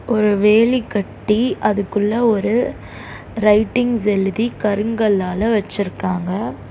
ஒரு வேலி கட்டி அதுக்குள்ள ஒரு ரைட்டிங்ஸ் எழுதி கருங்கள்ளால வெச்சிருக்காங்க.